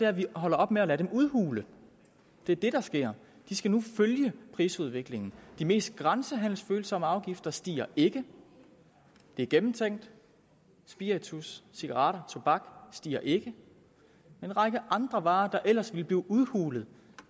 at vi holder op med at lade dem udhule det er det der sker og de skal nu følge prisudviklingen de mest grænsehandelsfølsomme afgifter stiger ikke det er gennemtænkt spiritus cigaretter tobak stiger ikke en række andre varer der ellers ville blive udhulet